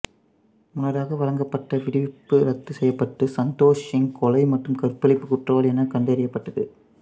முன்னதாக வழங்கப்பட்ட விடுவிப்பு ரத்து செய்யப்பட்டு சந்தோஷ் சிங் கொலை மற்றும் கற்பழிப்பு குற்றவாளி என கண்டறியப்பட்டது